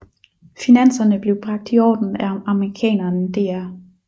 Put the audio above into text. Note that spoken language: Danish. Finanserne blev bragt i orden af amerikaneren dr